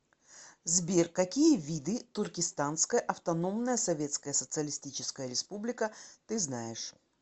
сбер какие виды туркестанская автономная советская социалистическая республика ты знаешь